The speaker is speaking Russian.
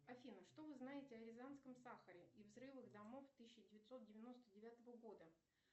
афина что вы знаете о рязанском сахаре и взрывах домов тысяча девятьсот девяносто девятого года